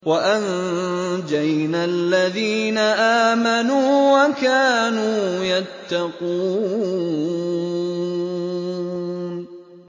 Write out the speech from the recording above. وَأَنجَيْنَا الَّذِينَ آمَنُوا وَكَانُوا يَتَّقُونَ